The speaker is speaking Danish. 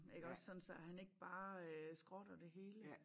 Iggås sådan så at han ikke bare skrotter det hele